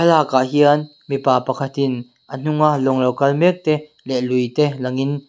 lakah hian mipa pakhat in a hunga lawng lo kal mek te leh lui te lang in.